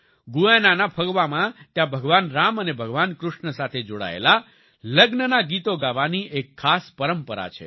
Guyana ના ફગવામાં ત્યાં ભગવાન રામ અને ભગવાન કૃષ્ણ સાથે જોડાયેલા લગ્નના ગીતો ગાવાની એક ખાસ પરંપરા છે